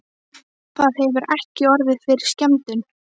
Það hefur ekki orðið fyrir skemmdum?